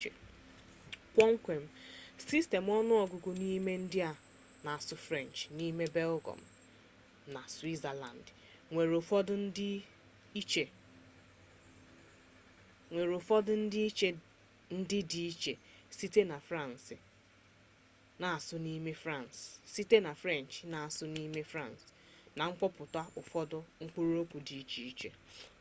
kpọmkwem sistemụ ọnụ ọgụgụ n'ime ndị na-asụ frenchị n'ime belgịọm na switzerlandị nwere ụfọdụ ndịiche ndị dị iche site na frenchị a na asụ n'ime fransị na mkpọpụta ụfọdụ mkpụrụ okwu dịtụ iche obere